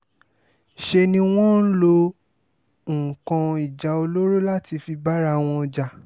ṣe ni wọ́n ń lo nǹkan ìjà olóró láti fi bára wọn jà